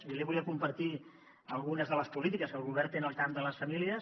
jo li volia compartir algunes de les polítiques que el govern té en el camp de les famílies